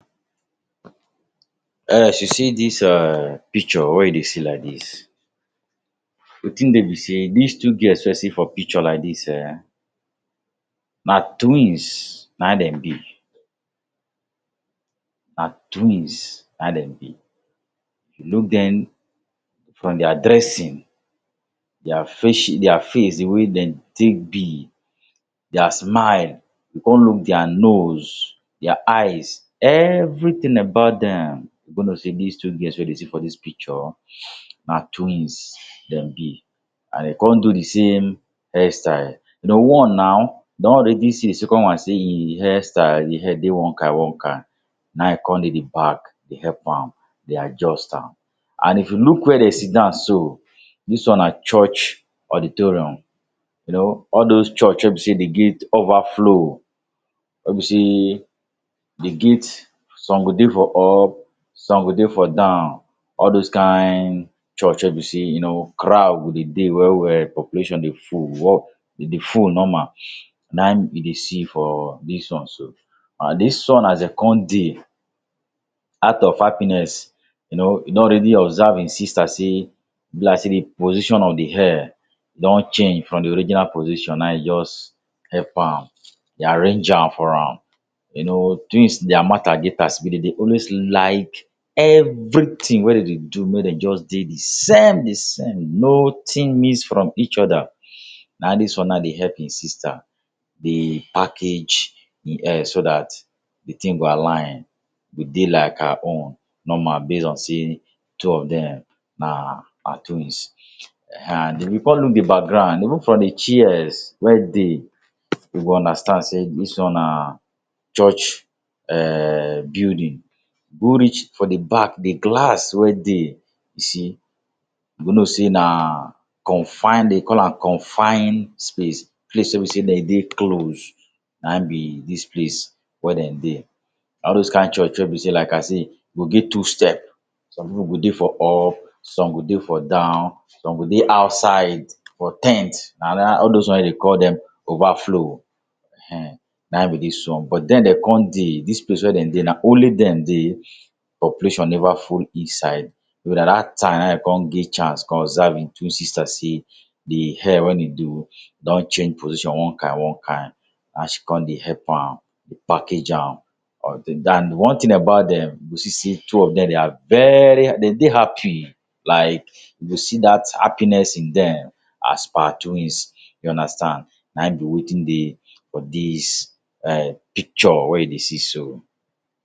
you see dis um picture wey you dey see like dis, wetin dey be sey dis two girls wey you see for picture like dis um na twins na in dem be. Na twins na dem be. If you look dem from their dressing, dia dia face, de way dem take be, dia smile, you come look dia nose, dia eyes, everything about dem, you go know sey these two girls wey you dey see for dis picture na twins dem be. And dem come do de same hairstyle. You know one now, don already see sey de second one sey e hairstyle, e hair dey one kind one kind, na e come dey dey pack, dey help am, dey adjust am. And if you look where dem sit down so, dis one na church auditorium. You know, all those church wey be sey dem get overflow, wey be sey dem get some go dey for up, some go dey for down. All dos kind church wey be sey you know crowd go dey dey well well, population dey full, e dey full normal na in dey see for dis one so. And dis one as dem come dey, out of happiness, you know, e don already observe im sister sey e be like sey di position of di hair don change from di original position, na in just help am, dey arrange am for am. You know, twins their matter get as e be. Dem dey always like everything wey dem dey do make dem just dey de same de same, nothing miss from each other. Na dis one now dey help im sister dey package de hair so that de thing go align, go dey like her own normal, based on sey two of dem na na twins. Ehen and if you come look de background, even for de chairs wey dey, you go understand sey dis one na church um building. Both reach for de back de glass wey dey be sey you go know sey na confined dem dey call am confined space. Place wey be sey dem dey closed na be dis place wey dem dey. Na all those kind church wey be sey like I say go get two step. Some pipu go dey for up, some go dey for down, some go dey outside for ten t, nah that all those ones wey dem dey call dem overflow, ehen na in be dis one. But dem dem come dey. Dis place wey dem dey na only dem dey. Population never full inside. So na that time e come get chance observe im twin sister sey de hair wey e do don change position one kind one kind. Na she come dey help am dey package am One thing about dem, you see sey two of dem they are very dem dey happy like, you go see that happiness in dem as per twins. You understand. Na e be wetin dey for dis um picture wey you dey see so